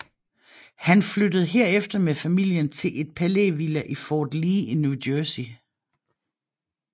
Han flyttede herefter med familien til et palævilla i Fort Lee i New Jersey